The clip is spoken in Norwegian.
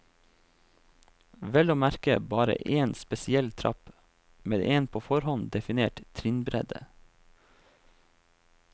Vel å merke bare en spesiell trapp, med en på forhånd definert trinnbredde.